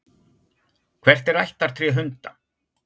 Hvert er ættartré hunda?